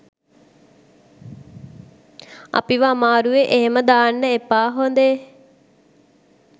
අපිව අමාරුවෙ එහෙම දාන්න එපා හොදේ